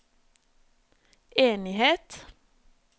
enighet